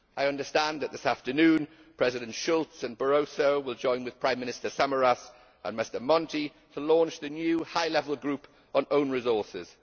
I understand that this afternoon MrSchulz and MrBarroso will join with Prime Minister Samaras and MrMonti to launch the new High Level Group on own resources.